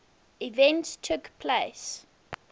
events took place